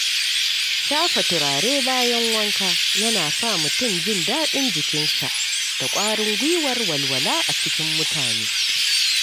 Shafa turare bayan wanka yana sa mutum jin daɗin jikinsa da ƙwarin gwiwar walwala a cikin mutane.